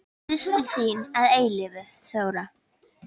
Þín systir að eilífu, Þóra.